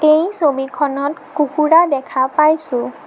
এই ছবিখনত কুকুৰা দেখা পাইছোঁ।